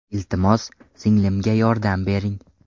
Iltimos, singlimga yordam bering”.